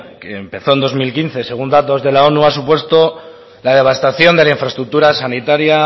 que empezó en dos mil quince según datos de la onu ha supuesto la devastación de infraestructuras sanitarias